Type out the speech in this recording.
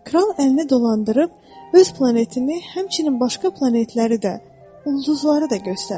Kral əlini dolandırıb öz planetini, həmçinin başqa planetləri də, ulduzları da göstərdi.